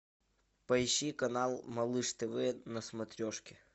поищи канал малыш тв на смотрешке